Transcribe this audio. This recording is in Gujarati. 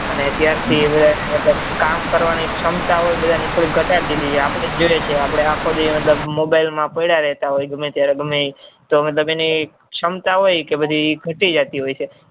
અને અત્યાર થી બધા ની કામ કરવાની ક્ષમતા હોય એ બધાને ઘટાડી દીધી છે આપડે જોઈએ છીએ કે આપડે આખો દિવસ mobile માં જ પડ્યા રહેતા હોય ગમે ત્યારે ગમે એ તે મતલબ એને ક્ષમાતા હોય એ બધી ઘટી જતી હોય છે